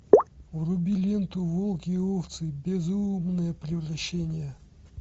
вруби ленту волки и овцы безумное превращение